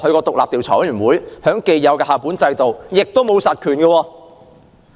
獨立調查委員會在既有的校本制度下也沒有實權。